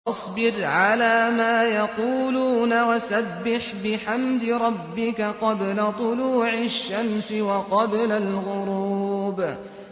فَاصْبِرْ عَلَىٰ مَا يَقُولُونَ وَسَبِّحْ بِحَمْدِ رَبِّكَ قَبْلَ طُلُوعِ الشَّمْسِ وَقَبْلَ الْغُرُوبِ